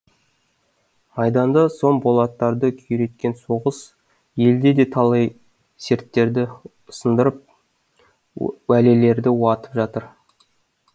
майданда сом болаттарды күйреткен соғыс елде де талай серттерді сындырып уәделерді уатып жатыр